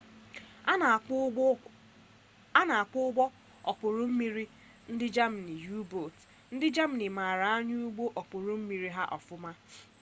a na-akpọ ụgbọ okpuru mmiri ndị germany u-boat ndị germany maara anya ụgbọ okpuru mmiri ha ọfụma